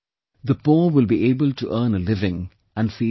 The poor will be able to earn a living and feed themselves